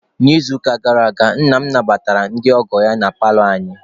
N'izuụka gara aga, nna m nabatara ndị ọgọ ya na paalọ anyị.